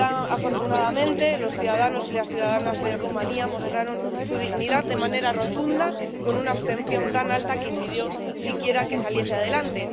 Afortunadamente los ciudadanos y las ciudadanas de Rumanía mostraron su dignidad de manera rotunda con una abstención tan alta que impidió siquiera que saliese adelante.